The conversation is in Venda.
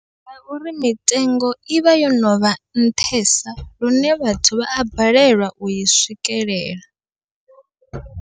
Ngauri mitengo ivha yo novha nṱhesa, lune vhathu vha a balelwa ui swikelela.